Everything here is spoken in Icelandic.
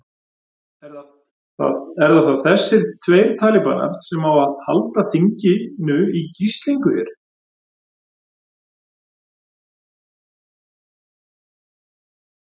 Eru það þessir tveir talíbanar sem að halda þinginu í gíslingu hér?